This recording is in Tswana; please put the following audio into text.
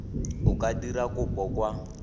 o ka dira kopo kwa